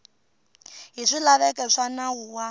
hi swilaveko swa nawu wa